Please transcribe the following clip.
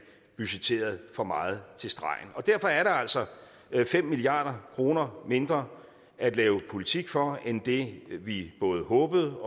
budgetterede for meget til stregen derfor er der altså fem milliard kroner mindre at lave politik for end det vi både håbede